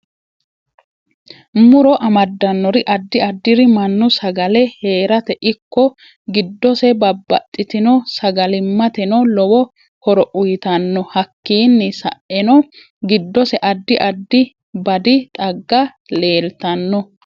Muro amdanori addi addiri mannu sagalle heeraate ikko gidose babbaxitinno sagalimatenno lowo horo uyiitanno hakiini sa'enno giddose addi addi badi xagga leeltanno